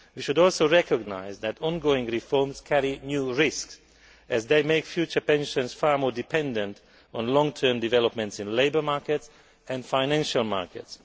We should also recognise that ongoing reforms carry new risks as they make future pensions far more dependent on long term developments in the labour market and financial markets.